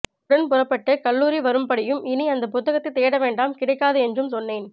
உடன் புறப்பட்டு கல்லூரி வரும்படியும் இனி அந்த புத்தகத்தை தேடவேண்டாம் கிடைக்காது என்றும்சொன்னேன்